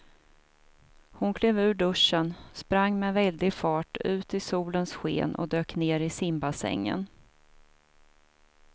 Hon klev ur duschen, sprang med väldig fart ut i solens sken och dök ner i simbassängen.